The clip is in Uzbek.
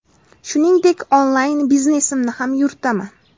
Shuningdek, onlayn biznesimni ham yuritaman.